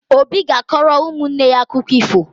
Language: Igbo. Obi ga-akọrọ ụmụnne ya akụkọ ifo